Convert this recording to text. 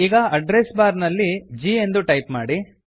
ಈಗ address bar ನಲ್ಲಿ g ಎಂದು ಟೈಪ್ ಮಾಡಿ